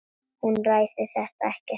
Hún ræðir þetta ekkert frekar.